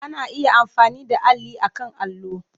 Ana iya amfani da alli akan allo.